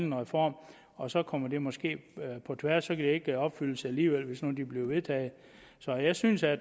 en reform og så kommer det måske på tværs og det ikke opfyldes alligevel hvis nu det bliver vedtaget så jeg synes at